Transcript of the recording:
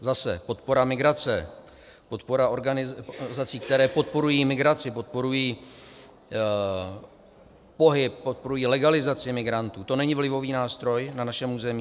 Zase - podpora migrace, podpora organizací, které podporují migraci, podporují pohyb, podporují legalizaci migrantů, to není vlivový nástroj na našem území?